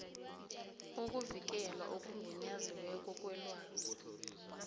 ukuvikelwa okugunyaziweko kwelwazi